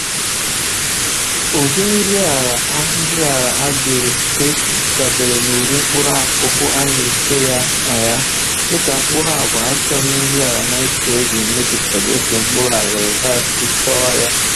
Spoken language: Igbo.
Ụdị nri ala a nri ala a ga-efe dabeere n'ụdị mkpụrụakụkụ a na-efe ya na ya, dịka mkpụrụ agwa achọchaghị nri ala naịtrojin mejupụtara otu mkpụrụ aghịrịgha si chọọ ya